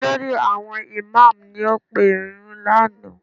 Olórí àwọn ìmáàmù ni ó pe ìrunú lánàá